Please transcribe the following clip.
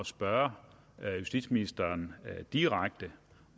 spørge justitsministeren direkte